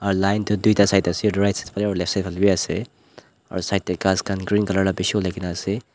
line toh duita site ase right side phale aru left side phale vi ase aru side tae ghas green colour khan bishi olai na ase.